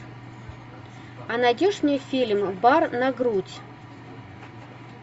а найдешь мне фильм бар на грудь